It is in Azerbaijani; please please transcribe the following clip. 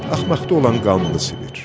Axmaqda olan qanını silir.